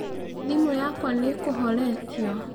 thimu yakwa nĩĩkũhoretĩo